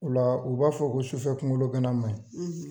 Ola u b'a fɔ ko sufɛ kungolo gana manɲi